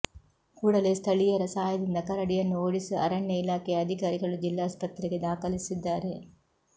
ಕೂಡಲೇ ಸ್ಥಳಿಯರ ಸಹಾಯದಿಂದ ಕರಡಿಯನ್ನು ಓಡಿಸಿ ಅರಣ್ಯ ಇಲಾಖೆಯ ಅಧಿಕಾರಿಗಳು ಜಿಲ್ಲಾಸ್ಪತ್ರೆಗೆ ದಾಖಲಿಸಿದ್ದಾರೆ